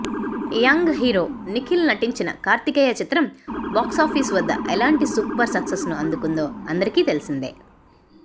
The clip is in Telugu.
యంగ్ హీరో నిఖిల్ నటించిన కార్తికేయ చిత్రం బాక్సాఫీస్ వద్ద ఎలాంటి సూపర్ సక్సెస్ను అందుకుందో అందరికీ తెలిసిందే